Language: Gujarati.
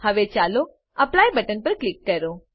હવે ચાલો એપ્લાય બટન પર ક્લિક કરો